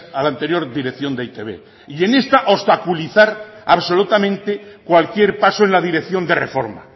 a la anterior dirección de e i te be y en esta obstaculizar absolutamente cualquier paso en la dirección de reforma